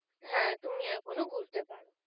হ্যাঁ তুমি এখনও ঘুরতে পারো